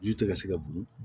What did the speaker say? Ji tɛ ka se ka dun